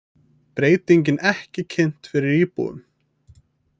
Breytingin ekki kynnt fyrir íbúum